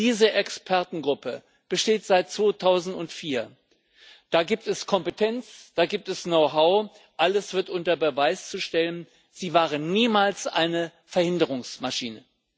Diese Expertengruppe besteht seit 2004. Da gibt es Kompetenz, da gibt es Know how, alles wird unter Beweis gestellt, sie war niemals eine Verhinderungsmaschine.